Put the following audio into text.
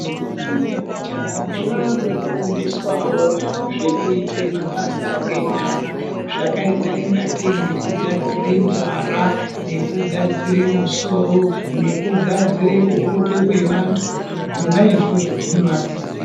Ndombi nemajaha zvakufundiswawo zvekuita mabasa enyara zvakaita ngatei sekugadzira nzwara nekugadzira musoro nekugadzire kuhope kwevantu zvona izvozvo zvinovadetsera.